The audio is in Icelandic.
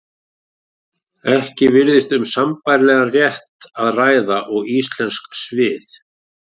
Ekki virðist um sambærilegan rétt að ræða og íslensk svið.